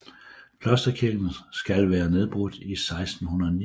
Klosterkirken skal være nedbrudt i 1689